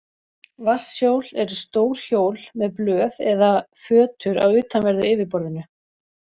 Vatnshjól eru stór hjól með blöð eða fötur á utanverðu yfirborðinu.